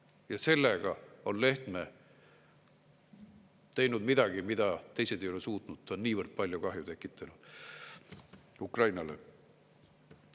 Ja sellega on Lehtme teinud midagi, mida teised ei ole suutnud, ta on niivõrd palju kahju tekitanud Ukrainale.